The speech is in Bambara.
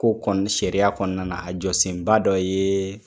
Ko kɔni sariya kɔnɔna a jɔ senba dɔ ye,